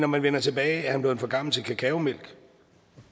man vender tilbageer han blevet for gammel til kakaomælk